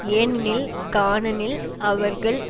ஏனெனில் கானனில் அவர்கள்